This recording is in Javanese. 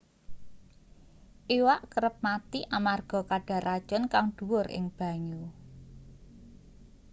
iwak kerep mati amarga kadar racun kang dhuwur ing banyu